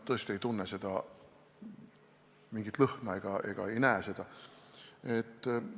Tõesti nad ei tunne mingit lõhna ega ei näe seda gaasi.